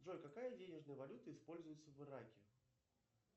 джой какая денежная валюта используется в ираке